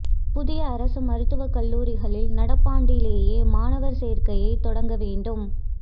புதிய அரசு மருத்துவக் கல்லூரிகளில் நடப்பாண்டிலேயே மாணவா் சோ்க்கையை தொடங்க வேண்டும்